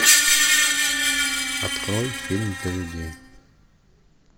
открой фильм для людей